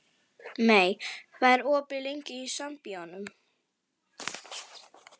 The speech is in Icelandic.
Mey, hvað er opið lengi í Sambíóunum?